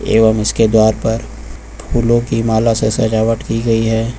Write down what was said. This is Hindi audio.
एवं इसके द्वारा पर फूलों की माला से सजावट की गई है।